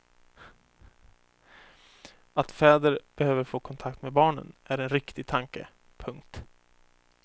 Att fäder behöver få kontakt med barnen är en riktig tanke. punkt